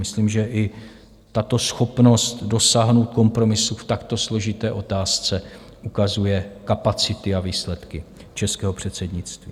Myslím, že i tato schopnost dosáhnout kompromisu v takto složité otázce ukazuje kapacity a výsledky českého předsednictví.